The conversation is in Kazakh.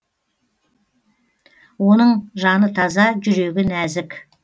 оның жаны таза жүрегі нәзік